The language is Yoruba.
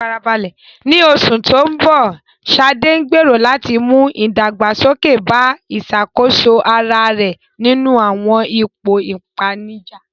Ní oṣù tó ń bọ̀, Sade gbèrò láti mú ìdàgbàsókè bá ìṣàkóso ara rẹ̀ nínú àwọn ipò ìpèníjà.